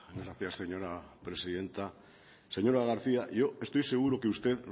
gracias señora presidenta señora garcía yo estoy seguro que usted